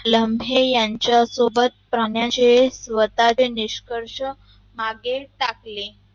लम्हे यांचा सोबत पाण्याचे स्वताचे निसकर्ष मागे टाकले